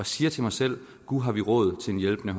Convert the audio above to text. siger til mig selv gu’ har vi rådtil en hjælpende